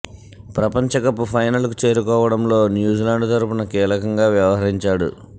ప్రపంచ cup final కు చేరుకోవడంలో న్యూజిలాండ్ తరపున కీలకంగా వ్యవహరించాడు